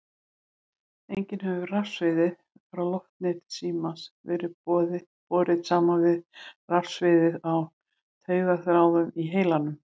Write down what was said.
Einnig hefur rafsviðið frá loftneti símans verið borið saman við rafsviðið á taugaþráðum í heilanum.